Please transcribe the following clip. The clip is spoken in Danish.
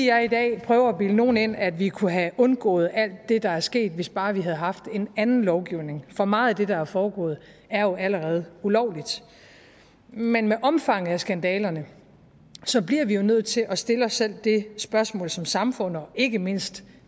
jeg i dag prøver at bilde nogen ind at vi kunne have undgået alt det der er sket hvis bare vi havde haft en anden lovgivning for meget af det der er foregået er jo allerede ulovligt men med omfanget af skandalerne bliver vi jo nødt til at stille os selv det spørgsmål som samfund og ikke mindst